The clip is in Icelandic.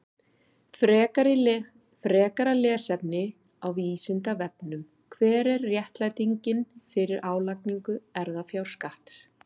Frekara lesefni á Vísindavefnum: Hver er réttlætingin fyrir álagningu erfðafjárskatts?